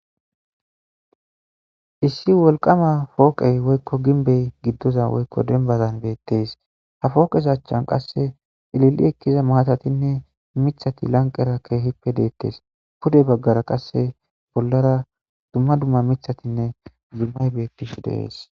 Issi woliqama poqe woykko gimbe giddoza woykko dembasa dees. Ha poqeza achan issi lili ekkida mathatinne miththati lanqqera eqqidi dettes pude baggara qassi issi bollara dumma dumma mithatinne zummayi beettishe des